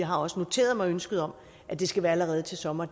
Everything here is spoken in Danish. har også noteret mig ønsket om at det skal være allerede til sommer